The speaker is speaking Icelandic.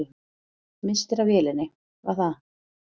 Misstir af vélinni, var það?